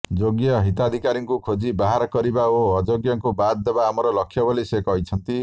ଯୋଗ୍ୟ ହିତାଧିକାରୀଙ୍କୁ ଖୋଜି ବାହାର କରିବା ଓ ଅଯୋଗ୍ୟଙ୍କୁ ବାଦ ଦେବା ଆମର ଲକ୍ଷ୍ୟ ବୋଲି ସେ କହିଛନ୍ତି